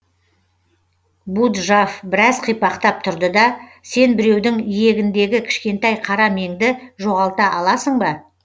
буджав біраз қипақтап тұрды да сен біреудің иегіндегі кішкентай қара меңді жоғалта аласың ба